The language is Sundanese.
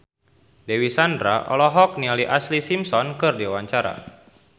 Dewi Sandra olohok ningali Ashlee Simpson keur diwawancara